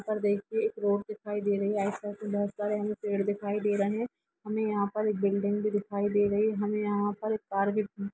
यहां पर देखें एक रोड दिखाई दे रहा है आसपास हमें बहुत सारे पेड़ दिखाई दे रहे हैं हमें यहां पर एक बिल्डिंग भी दिखाई दे रही है हमें यहां पर एक कार भी।